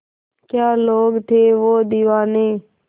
क्या लोग थे वो दीवाने